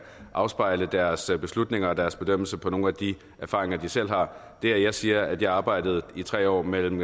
afspejle deres beslutninger og deres bedømmelser på nogle af de erfaringer de selv har det at jeg siger at jeg arbejdede i tre år mellem